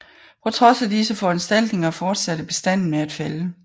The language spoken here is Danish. På trods af disse foranstaltninger fortsatte bestanden med at falde